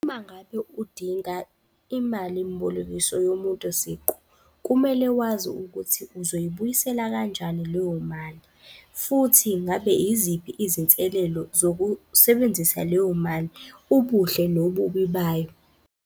Uma ngabe udinga imalimbolekiso yomuntu siqu, kumele wazi ukuthi uzoyibuyisela kanjani leyo mali, futhi ngabe yiziphi izinselelo zokusebenzisa leyo mali? Ubuhle, nobubi bayo.